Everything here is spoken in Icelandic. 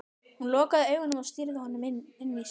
Hún lokaði augunum og stýrði honum inn í sig.